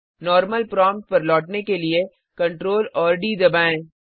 normal prompt पर लौटने के लिए Ctrl डी दबाएं